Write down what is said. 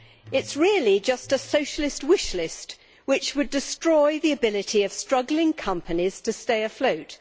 it is really just a Socialist wish list which would destroy the ability of struggling companies to stay afloat.